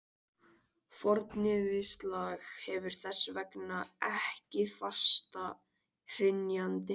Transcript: Fornyrðislag hefur þess vegna ekki fasta hrynjandi.